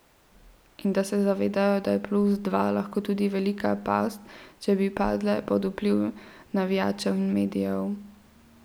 In da se zavedajo, da je plus dva lahko tudi velika past, če bi padle pod vpliv navijačev in medijev.